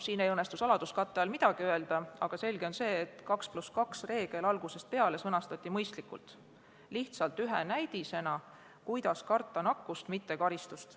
Siin ei õnnestu saladuskatte all midagi öelda, aga selge on see, et 2 + 2 reegel sõnastati algusest peale mõistlikult, lihtsalt ühe näidisena, kuidas karta nakkust, mitte karistust.